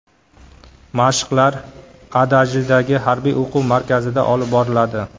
Mashqlar Adajidagi harbiy o‘quv markazida olib boriladi.